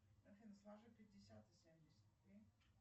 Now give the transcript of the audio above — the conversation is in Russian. афина сложи пятьдесят и семьдесят три